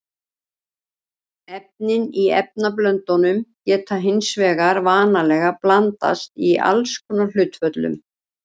Efnin í efnablöndunum geta hins vegar vanalega blandast í alls konar hlutföllum.